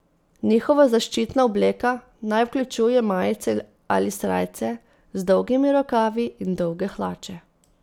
Njihova zaščitna obleka naj vključuje majice ali srajce z dolgimi rokavi in dolge hlače.